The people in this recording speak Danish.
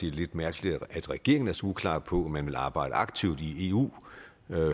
er lidt mærkeligt at regeringen er så uklar på om man vil arbejde aktivt i eu